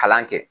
Kalan kɛ